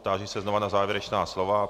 Táži se znova na závěrečná slova.